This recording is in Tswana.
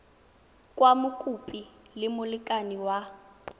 kwa mokopi le molekane wa